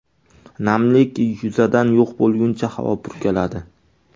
Namlik yuzadan yo‘q bo‘lguncha havo purkaladi.